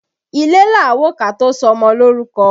Ilé là á wò ká tó sọmọ lórúkọ